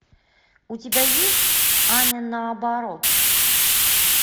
у тебя есть аня наоборот